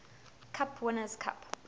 cup winners cup